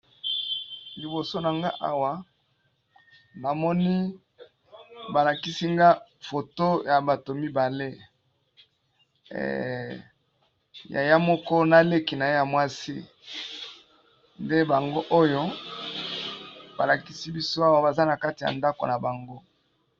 liboso na nga awa namoni balakisi nga foto ya bato mibale ya ya moko naleki na ye ya mwasi nde bango oyo balakisi biso awa baza na kati ya ndako na bango